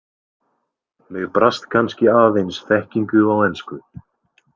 Mig brast kannski aðeins þekkingu á ensku.